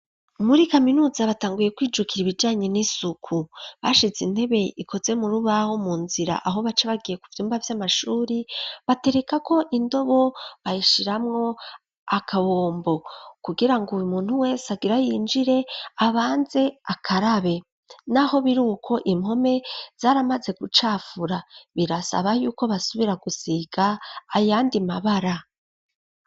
Muri kaminuza batanguye kwijukira ibijanye n'isuku ,bashize intebe ikoze mu rubaho mu nzira ,aho baca bagiye kuvyumba vy'amashuri batereka ko indobo, bahishiramwo akabombo kugira ngo umuntu wesagira yinjire abanze akarabe, n'aho biruko impome zaramaze gucafura birasaba yuko basubira gusiga ayandi mabara.